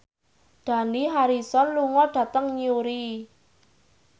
Dani Harrison lunga dhateng Newry